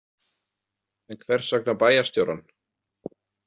En hvers vegna bæjarstjórann?